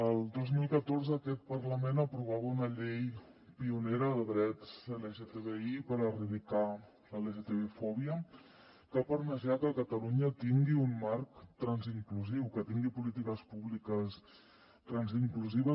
el dos mil catorze aquest parlament aprovava una llei pionera de drets lgtbi per erradicar l’lgtbi fòbia que ha permès ja que catalunya tingui un marc trans inclusiu que tingui polítiques públiques trans inclusives